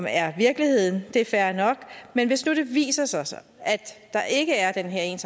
er virkeligheden det er fair nok men hvis nu det viser sig at der ikke er den her